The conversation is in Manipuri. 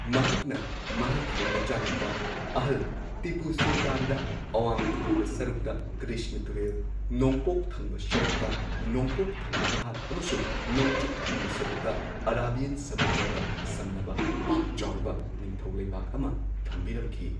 ꯃꯍꯥꯛꯅ ꯃꯍꯥꯛꯀꯤ ꯃꯆꯥꯅꯨꯄꯥ ꯑꯍꯜ ꯇꯤꯄꯨ ꯁꯨꯜꯇꯥꯟꯗ ꯑꯋꯥꯡ ꯊꯪꯕ ꯁꯔꯨꯛꯇ ꯀ꯭ꯔꯤꯁꯅ ꯇꯨꯔꯦꯜ, ꯅꯣꯡꯄꯣꯛ ꯊꯪꯕ ꯁꯔꯨꯛꯇ ꯅꯣꯡꯄꯣꯛ ꯊꯪꯕꯥ ꯘꯥꯠ ꯑꯃꯁꯨꯡ ꯅꯣꯡꯆꯨꯞ ꯊꯪꯕ ꯁꯔꯨꯛꯇ ꯑꯔꯥꯕꯤꯌꯟ ꯁꯃꯨꯗ꯭ꯔꯒ ꯁꯝꯅꯕ ꯄꯥꯛ ꯆꯥꯎꯔꯕ ꯅꯤꯡꯊꯧ ꯂꯩꯕꯥꯛ ꯑꯃ ꯊꯝꯕꯤꯔꯝꯈꯤ꯫